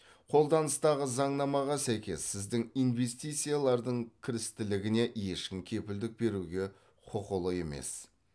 қолданыстағы заңнамаға сәйкес сіздің инвестициялардың кірістілігіне ешкім кепілдік беруге құқылы емес